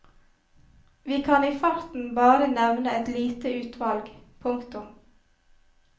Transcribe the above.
Vi kan i farten bare nevne et lite utvalg. punktum